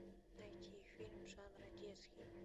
найти фильм жанра детский